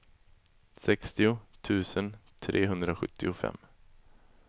sextio tusen trehundrasjuttiofem